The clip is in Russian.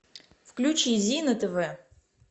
включи зи на тв